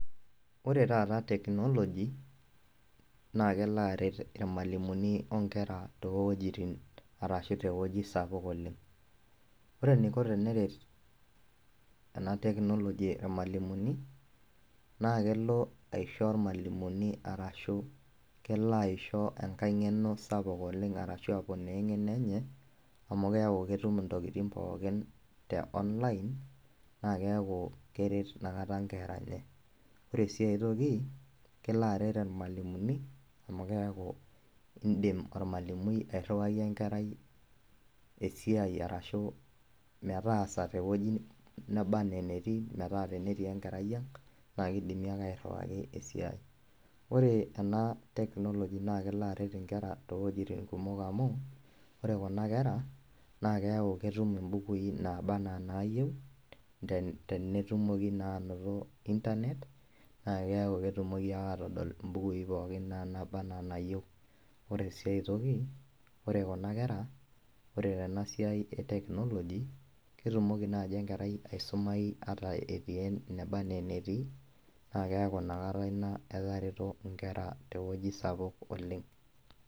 Ore taata technology, na kelo aret irmalimuni onkera towojiting arashu tewueji sapuk oleng. Ore eniko teneret ena technology irmalimuni, naa kelo aisho irmalimuni arashu kelo aisho enkae ng'eno sapuk oleng arashu aponaa eng'eno enye, amu keeku ketum intokiting pookin te online, na keeku keret inakata nkera enye. Ore si ai toki, kelo aret irmalimuni, amu keeku idim ormalimui airriwaki enkerai esiai arashu metaasa tewueji naba enaa enetii metaa tenetii enkerai ang', naa kidimi ake airriwaki esiai. Ore ena technology, na kelo aret inkera towuejiting kumok amu, ore kuna kera, na keeku ketum ibukui naba enaa naayieu, tenetumoki naa anoto Internet, na keeku ketumoki ake atodol ibukui pookin na naaba enaa naayieu. Ore si ai toki, ore kuna kera, ore tenasiai e technology ,ketumoki naji enkerai aisumayu ata etii eneba enaa enetii, na keeku inakata ina etareto nkera tewueji sapuk oleng.